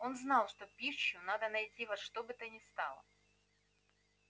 он знал что пищу надо найти во что бы то ни стало